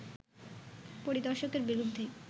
পরিদর্শকের বিরুদ্ধে